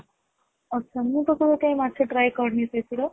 ଆଛା ମୁଁ ତ କେବେ କାଇଁ ମାଛ try କରିନି ସେଠି ର